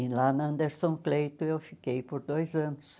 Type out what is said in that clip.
E lá na Anderson Cleito, eu fiquei por dois anos.